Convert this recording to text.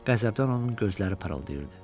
Qəzəbdən onun gözləri parıldayırdı.